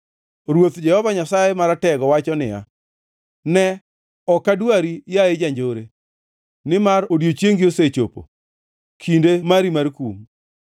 Ruoth, Jehova Nyasaye Maratego wacho niya, “Ne, ok adwari, yaye janjore, nimar odiechiengi osechopo, kinde mari mar kum.